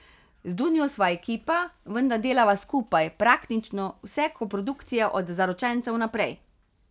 Z Dunjo sva ekipa, vedno delava skupaj, praktično vse koprodukcije od Zaročencev naprej.